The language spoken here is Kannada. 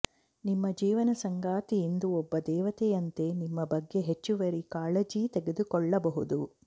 ನಿಮ್ಮ ಜೀವನ ಸಂಗಾತಿ ಇಂದು ಒಬ್ಬ ದೇವತೆಯಂತೆ ನಿಮ್ಮ ಬಗ್ಗೆ ಹೆಚ್ಚುವರಿ ಕಾಳಜಿ ತೆಗೆದುಕೊಳ್ಳಬಹುದು